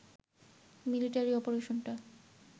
military অপারেশনটা